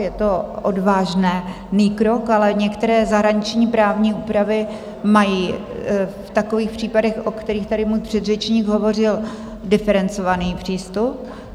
Je to odvážný krok, ale některé zahraniční právní úpravy mají v takových případech, o kterých tady můj předřečník hovořil, diferencovaný přístup.